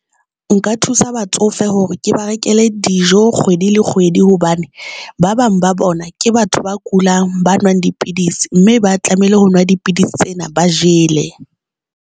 Nka thusa batsofe hore ke ba rekele dijo kgwedi le kgwedi hobane ba bang ba bona ke batho ba kulang, ba nwang dipidisi, mme ba tlamehile ho nwa dipidisi tsena ba jele.